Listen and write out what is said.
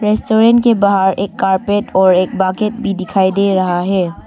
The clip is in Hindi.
रेस्टोरेंट के बाहर एक कारपेट और एक बाकेट भी दिखाई दे रहा है।